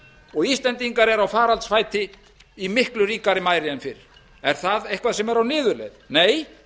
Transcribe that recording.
og íslendingar eru á faraldsfæti í miklu ríkari mæli en fyrr er það eitthvað sem er á niðurleið nei